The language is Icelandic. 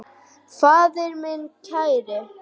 Faðir minn kær.